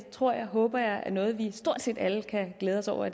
tror jeg og håber jeg er noget vi stort set alle kan glæde os over